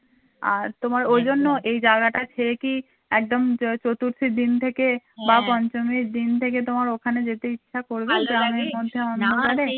আর তোমার ঐজন্য এই জায়গাটা ছেড়ে কি একদম চতুর্থী দিন থেকে বা পঞ্চমীর দিন থেকে তোমার ওখানে যেতে ইচ্ছা করবে তোমার এর মধ্যে